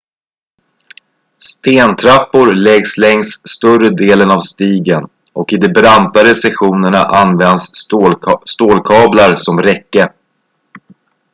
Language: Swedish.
stentrappor läggs längs större delen av stigen och i de brantare sektionerna används stålkablar som räcke